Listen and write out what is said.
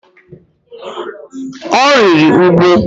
Ọ rịrị úgwù.